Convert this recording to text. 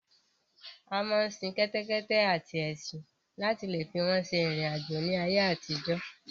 A máa ń sin kẹ́tẹ́kẹ́tẹ́ àti ẹṣin láti leè fi wọ́n ṣe ìrìn àjò ní ayé àtijọ́.